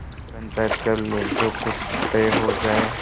पंचायत कर लो जो कुछ तय हो जाय